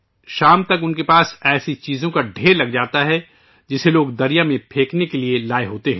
شام تک ان کے پاس ایسی چیزوں کا ڈھیر لگ جاتا ہے، جسے لوگ دریا میں پھینکنے کے لئے لائے ہوتے ہیں